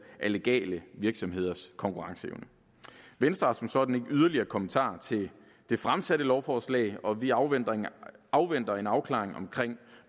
af legale virksomheders konkurrenceevne venstre har som sådan ikke yderligere kommentarer til det fremsatte lovforslag og vi afventer en afventer en afklaring omkring